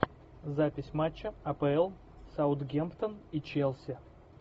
запись матча апл саутгемптон и челси